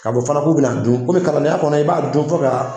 Ka lɔn fana k'u bɛna na dun komi kalanenya kɔnɔ i b'a dun fɔ ka